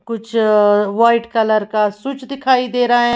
कुछ white colour का सुच दिखाई दे रहा है।